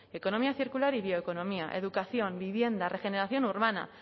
economía circular y bioeconomía educación vivienda regeneración urbana